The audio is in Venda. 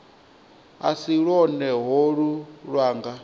a si lwone holu lwanga